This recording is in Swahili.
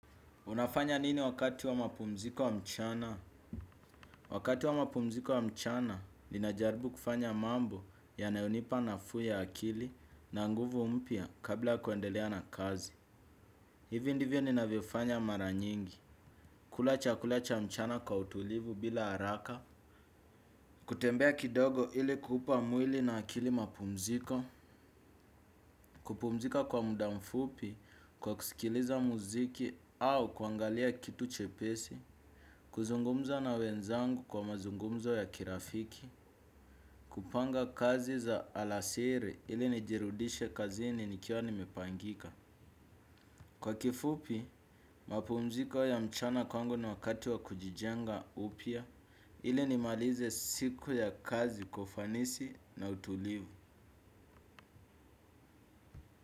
Unafanya nini wakati wa mapumziko wa mchana? Wakati wa mapumziko wa mchana, ninajaribu kufanya mambo yanayonipa nafuu ya akili na nguvu mpya kabla ya kuendelea na kazi. Hivi ndivyo ninavyofanya mara nyingi. Kula chakula cha mchana kwa utulivu bila haraka. Kutembea kidogo ili kupa mwili na akili mapumziko. Kupumzika kwa muda mfupi, kwa kusikiliza muziki au kuangalia kitu chepesi. Kuzungumza na wenzangu kwa mazungumzo ya kirafiki. Kupanga kazi za alasiri ili nijirudishe kazini nikiwa nimepangika. Kwa kifupi, mapumziko ya mchana kwangu na wakati wa kujijenga upya ili nimalize siku ya kazi kwa ufanisi na utulivu.